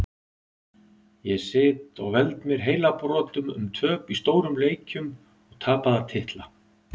Ég sit og veld mér heilabrotum um töp í stórum leikjum og tapaða titla.